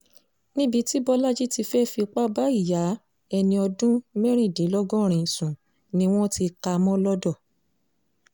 níbi tí bọ́lajì ti fẹ́ẹ́ fipá bá ìyá ẹni ọdún mẹ́rìndínlọ́gọ́rin sùn ni wọ́n kà á mọ́ lodò